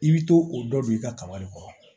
I bɛ to o dɔ don i ka kaba de kɔrɔ